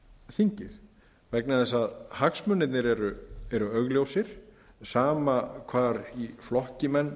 þingið vegna þess að hagsmunirnir eru augljósir sama hvar í flokki menn